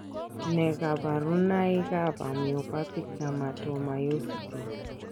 Nee kabarunoikab Amyopathic dermatomyositis?